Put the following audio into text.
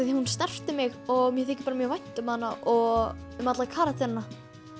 því að hún snerti mig og mér þykir mjög vænt um hana og um alla karakterana